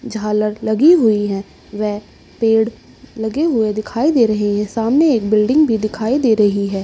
झालर लगी हुई हैं व पेड़ लगे हुए दिखाई दे रहे हैं। सामने एक बिल्डिंग भी दिखाई दे रही है।